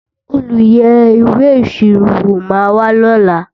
olú yé ìwé ìṣirò wò má wà ló là